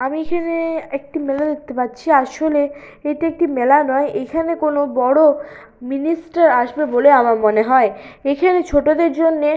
আমি এখানে একটি মেলা দেখতে পাচ্ছি আসলে এটি একটি মেলা নয়। এখানে কোন বড় মিনিস্টার আসবে বলে আমার মনে হয় এখানে ছোটদের জন্যে--